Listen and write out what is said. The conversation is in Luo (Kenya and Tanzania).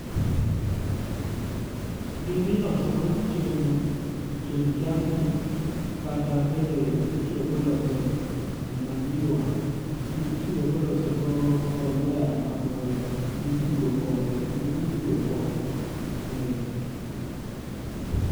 Gini niloso go chiemb chiemb jamni kata bende nitiyo go loso manyiwa nitiyo go loso go mbolea mipuro kod mipuro go.